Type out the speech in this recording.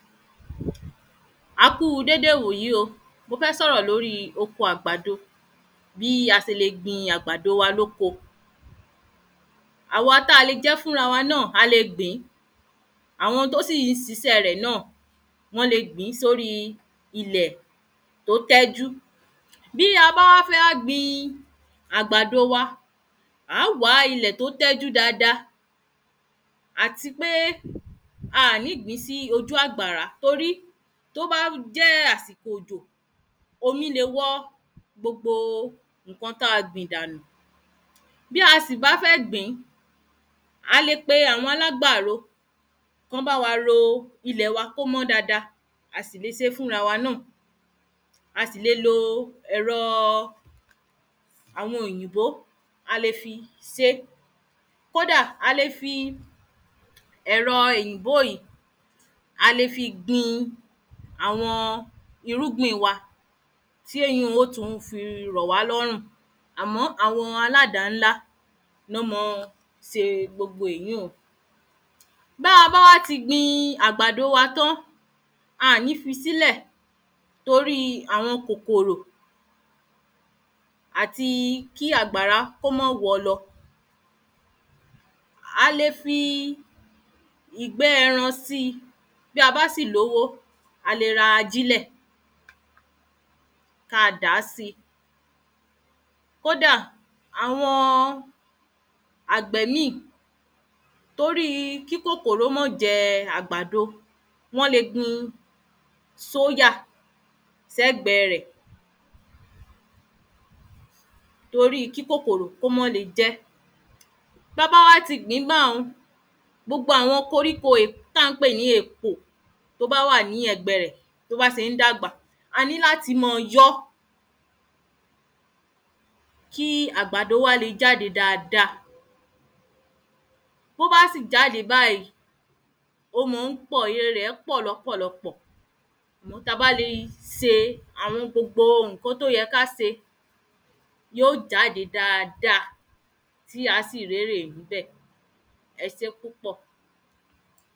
a ku déedé ìwòyí o, mo fẹ́ sọ̀rọ̀ nípa oko àgbàdo, bí a ṣe lè gbn àgbàdo wa lóko àwa táa lè jẹ fúnra wá náà, a le gbìn, àwọn tó sì ń ṣiṣe rẹ̀ náà wọ́n lè gbìn sórí ilẹ̀ tó tẹ́jú bí a bá fẹ wá gbìn àgbàdo wa, a óò wá ilẹ̀ tó tẹ́jú dáadáa àti pé a ó ní gbìn sí ojú àgbàrá torí tó bá jẹ́ àsìkò òjò, ómí lè wọ gbogbo ǹkan tá a gbìn dànù. a lè pe àwọn alágbàro kọ́ bá wa ro ilẹ̀ wá kò mọ dáadáa, a sì le ṣé fúnra wá náà a sì lè lo ẹ̀rọ àwọn òyìnbó a lè fi ṣé kóda a lè fi ẹ̀rọ òyìnbó yìí, a lè fi gbìn àwọn irúgbìn wá tí èyi ó tun fi rọ̀ wá lọ́rùn àmọ́ àwọn aládàá ńlá lọ́ máa ń ṣe gbogbo èyí un. Báa bá ti gbin àwọn àgbàdo wá tán, a ní fi sílẹ̀ torí àwọn kòkòrò àti kí agbára kó má wọ́ ọ lọ. A lè fi ìgbẹ ẹran síi bí a bá sì lówó a lè ra ajílẹ̀ ká dàá sì, kódà àwọn àgbẹ míì torí kí kòkòrò máa jẹ àgbàdo wọ́n lè gbìn sóyà sẹ́gbẹ rẹ̀. torí kí kòkòrò kó mà lè jẹ ẹ́, táa bá ti gbin báun gbogbo àwọn koríko tí à ń pè ní èpò tó bá wà ní ẹ̀gbẹ rẹ̀ tó bá ṣe ń dàgbà a ní láti máa yọ ọ́ kí àgbàdo wá le jáde dáadáa, to bá sì jáde báyìí ó ma ń pọ̀, ère rẹ̀ pọ̀ lọ́pọ̀lọpọ̀, táa bá lè ṣé gbogbo àwọn ǹkan tó yẹ ká ṣe yóò jáde dáadáa tí àá sì rérè níbẹ̀. ẹ ṣé púpọ̀